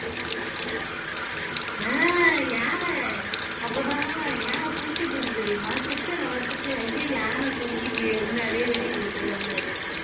ஆஹ் யானை அப்பதான் யானை குளிச்சிட்டு இருந்தது தெரியுமா சிட்டு அண்ண பார்த்துட்டு ஐயோ யானை குளிக்குது அப்படின்னு அதையே வேடிக்க பாத்துட்டு உட்காந்திருந்தாரு